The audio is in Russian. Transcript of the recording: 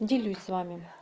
делюсь с вами